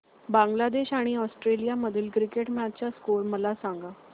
बांगलादेश आणि ऑस्ट्रेलिया मधील cricket match चा स्कोअर मला सांगा